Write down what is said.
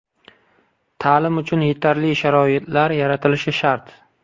Ta’lim uchun yetarli sharoitlar yaratilishi shart.